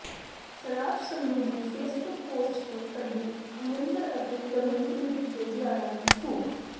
ਸਰਾਜ ਸੰਧੂ ਦੀ Facebook post ਨੇ ਕੱਢੀ ਅਮਰਿੰਦਰ ਅਤੇ ਰਵਨੀਤ ਬਿੱਟੂ ਦੇ ਬਿਆਨਾਂ ਦੀ ਫੂਕ